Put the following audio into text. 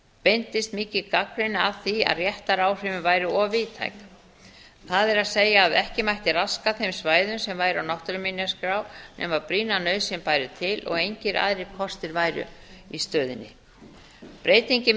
beindist mikil gagnrýni að því að réttaráhrifin væru of víðtæk það er að ekki mætti raska þeim svæðum sem væru á náttúruminjaskrá nema brýna nauðsyn bæri til og engir aðrir kostir væru í stöðunni breytingin miðar að